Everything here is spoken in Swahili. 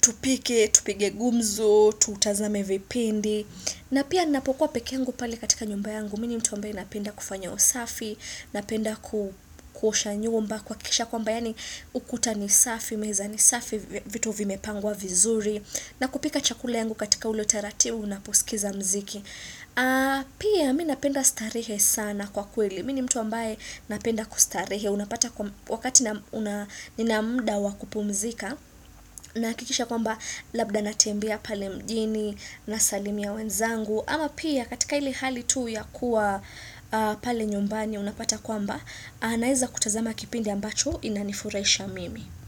tupike, tupige gumzo, tutazame vipindi. Na pia ninapokuwa pekee yangu pale katika nyumba yangu, mi ni mtu ambaye napenda kufanya usafi, napenda kuosha nyumba kuhakisha kwamba yaani ukuta ni safi, meza ni safi, vi vitu vimepangwa vizuri, na kupika chakula yangu katika ule utaratibu, unaposikiza mziki. Pia mi napenda starehe sana kwa kweli Mi ni mtu ambaye napenda kustarehe Unapata wakati na una nina mda wa kupumzika Nahakikisha kwamba labda natembea pale mjini Nasalimia wenzangu Ama pia katika ile hali tu ya kuwa pale nyumbani Unapata kwamba Naeza kutazama kipindi ambacho inanifurahisha mimi.